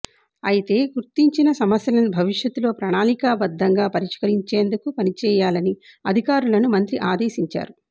అయితే గుర్తించిన సమస్యలను భవిష్యత్తులో ప్రణాళికబద్దంగా పరిష్కరించేందుకు పనిచేయాలని అధికారులను మంత్రి అదేశించారు